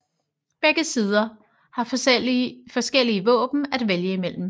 Begge sider har forskellige våben at vælge imellem